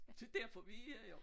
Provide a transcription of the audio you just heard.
Det derfor vi er her jo